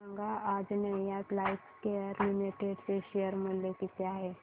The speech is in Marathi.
सांगा आंजनेया लाइफकेअर लिमिटेड चे शेअर मूल्य किती आहे